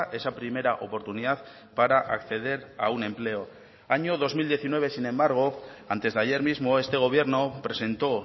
esa primera oportunidad para acceder a un empleo año dos mil diecinueve sin embargo antes de ayer mismo este gobierno presentó